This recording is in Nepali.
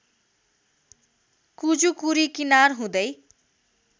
कुजुकुरी किनार हुँदै